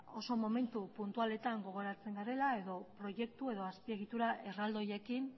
oso momentu puntualetan gogoratzen garela proiektu edo azpiegitura erraldoiekin